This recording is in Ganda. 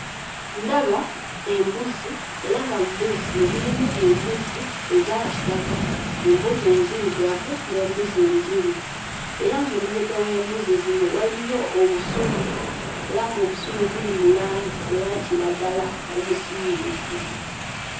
Ndaba embuzi era nga mu mbuzi muno mulimu embuzi eza kitaka, embuzi enzirugavu n'embuzi enjeru, era ng'emabega w'embuzi zino waliyo obusubi era ng'obusubi buli mu langi eya kiragala omusiiwuufu.